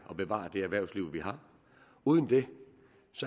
og bevare det erhvervsliv vi har uden det